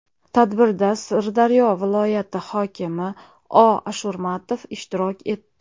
Tadbirda Sirdaryo viloyati hokimi O. Ashurmatov ishtirok etdi.